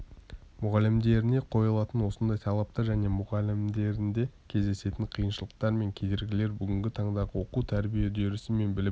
мұғалімдеріне қойылатын осындай талаптар және мұғалімдерінде кездесетін қиыншылықтар мен кедергілер бүгінгі таңдағы оқу-тәрбие үдерісі мен білім